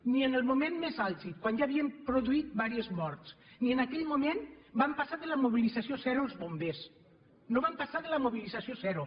ni en el moment més àlgid quan ja s’havien produït diverses morts ni en aquell moment van passar de la mobilització zero els bombers no van passar de la mobilització zero